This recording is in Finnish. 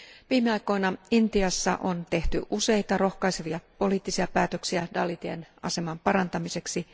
Viime aikoina Intiassa on tehty useita rohkaisevia poliittisia päätöksiä dalitien aseman parantamiseksi.